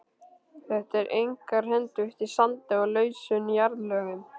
Þetta er einkar hentugt í sandi og lausum jarðlögum.